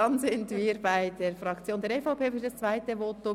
Damit sind wir bei der EVP-Fraktion für das zweite Votum.